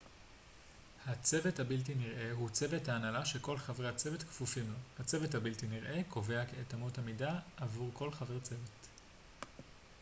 ה צוות הבלתי נראה הוא צוות ההנהלה שכל חברי הצוות כפופים לו הצוות הבלתי נראה קובע את את אמות המידה עבור כל חבר צוות